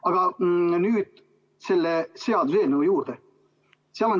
Aga nüüd selle seaduseelnõu juurde.